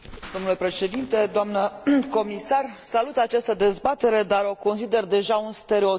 Salut această dezbatere, dar o consider deja un stereotip în practica politică și parlamentară.